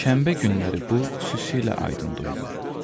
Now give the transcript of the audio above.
Şənbə günləri bu, xüsusilə aydın duyulur.